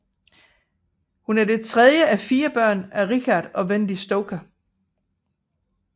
Hun er det tredje af fire børn af Richard og Wendy Stoker